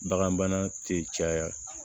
Bagan bana te caya